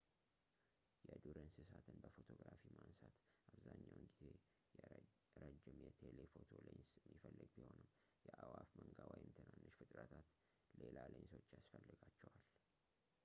የዱር እንሰሳትን በፎቶግራፊ ማንሳት አብዛኛውን ጊዜ ረዥም የቴሌፎቶ ሌንስ የሚፈልግ ቢሆንም የአእዋፍ መንጋ ወይም ትናንሽ ፍጥረታት ሌላ ሌንሶች ያስፈልጋቸዋል